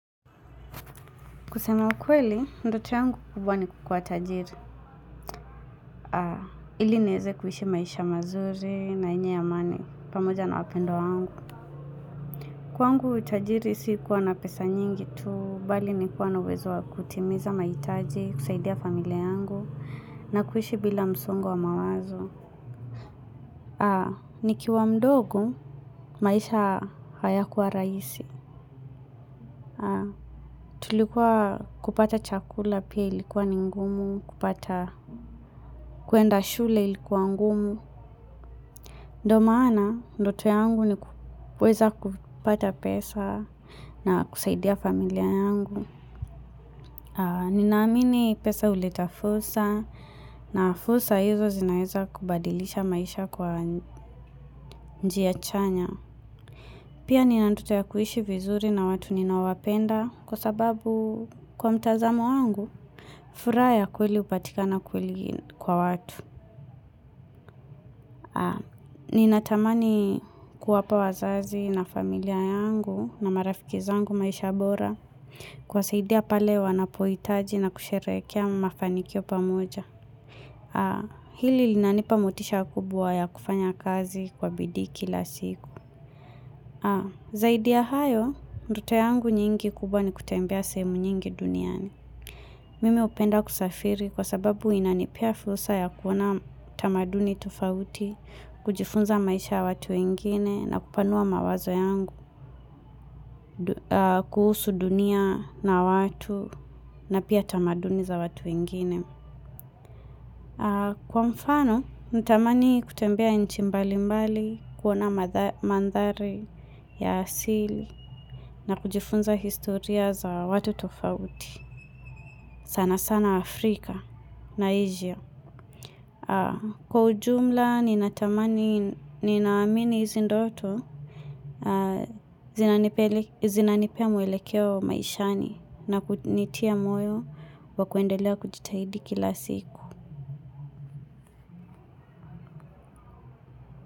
Kusema ukweli, ndoto yangu kubwa ni kukuwa tajiri. Ili niweze kuishi maisha mazuri na yenye amani, pamoja na wapendwa yangu. Kwangu tajiri si kuwa na pesa nyingi tu, bali ni kuwa na uwezo wa kutimiza mahitaji, kusaidia familia yangu. Na kuishi bila msongo wa mawazo. Haa, nikiwa mdogo, maisha hayakuwa rahisi. Tulikuwa kupata chakula pia ilikuwa ni ngumu, kupata kuenda shule ilikuwa ngumu. Ndo maana, ndoto yangu ni kuweza kupata pesa na kusaidia familia yangu. Ninaamini pesa huleta fursa na fursa hizo zinaeza kubadilisha maisha kwa njia chanya. Pia nina ndoto ya kuishi vizuri na watu ninawapenda kwa sababu kwa mtazamo wangu, furaha ya kweli hupatikana kweli kwa watu. Ninatamani kuwapa wazazi na familia yangu na marafiki zangu maisha bora kuwasaidia pale wanapohitaji na kusherehekea mafanikio pamoja. Hili linanipa motisha kubwa ya kufanya kazi kwa bidii kila siku. Zaidi ya hayo, ndoto yangu nyingi kubwa ni kutembea sehemu nyingi duniani. Mimi hupenda kusafiri kwa sababu inanipea fursa ya kuona tamaduni tofauti, kujifunza maisha ya watu wengine na kupanua mawazo yangu, kuhusu dunia na watu na pia tamaduni za watu wengine. Kwa mfano, natamani kutembea nchi mbali mbali, kuona mandhari ya asili na kujifunza historia za watu tofauti. Sana sana Afrika na Asia. Kwa ujumla, ninatamani, ninaamini hizi ndoto, zinanipea mwelekeo maishani na kunitia moyo wa kuendelea kujitahidi kila siku.